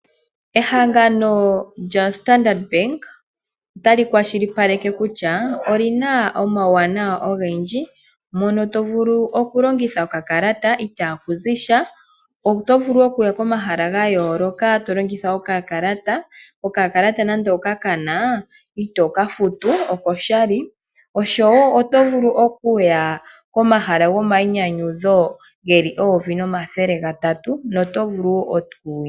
Ehangano lyo mbaaanga yo Standard otali kwashilipaleke kutya olina omawuwanawa ogendji mono tovulu okulongitha okalata itakuzisha . Otovulu okuya komahala ga yooloka to longitha okakalata. Okakalata nando okakana ito kafutu oko shali oshowo otovulu okuya komahala gomayinyanyudho geli 1300.